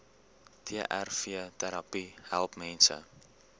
trvterapie help mense